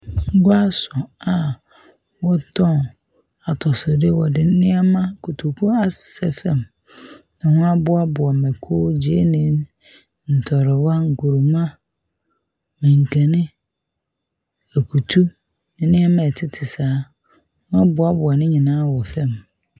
Guaso a wɔtɔn atosode. Wɔde nneɛma, kotoku asesɛ fam na woaboaboa mako, gyeene, ntrowa, nkruma, mankeni, akutu, nneɛma a ɛtete saa. Ɔmo aboaboa nyinaa wɔ fam.